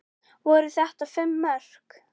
Voru þetta fimm mörk?